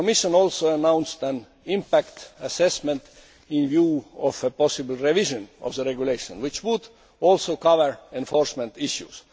The Commission also announced an impact assessment in view of a possible revision of the regulation, which would also cover enforcement issues.